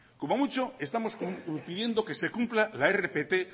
como mucho estamos pidiendo que se cumpla la rpt